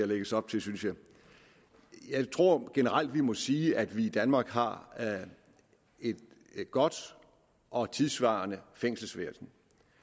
lægges op til synes jeg jeg tror vi generelt må sige at vi i danmark har et godt og tidssvarende fængselsvæsen